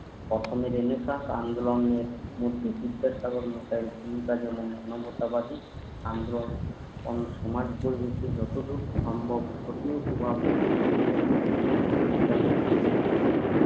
কখনো রেনেসাঁস আন্দোলনের মধ্যে বিদ্যাসাগর মশাইয়ের ভূমিকা অন্যান্য স্বাভাবিক আন্দোলন ও সমাজ যতটুক সম্ভব ধর্মীয় কুবাবদ ধর্মীয় যুক্তি বিচার যে নৈক্য